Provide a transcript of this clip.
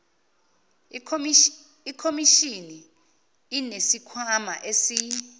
ikhomishini inesikhwama esi